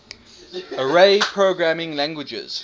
array programming languages